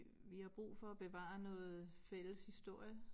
Vi har brug for at bevare noget fælles historie